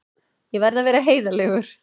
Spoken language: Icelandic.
Ég verð að vera heiðarlegur.